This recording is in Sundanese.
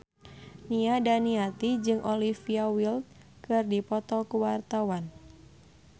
Nia Daniati jeung Olivia Wilde keur dipoto ku wartawan